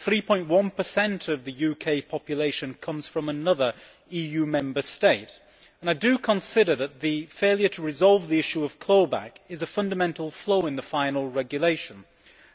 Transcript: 3.1 of the UK population comes from another EU Member State and I consider that the failure to resolve the issue of clawback is a fundamental flaw in the final regulation